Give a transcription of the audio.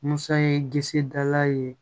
Musa ye disi dala ye